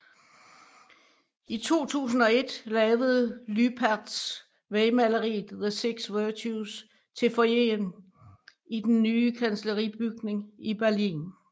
I 2001 lavede Lüpertz vægmaleriet The Six Virtues til foyeren til den nye kansleribygning i Berlin